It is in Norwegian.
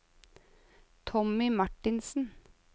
Tommy Marthinsen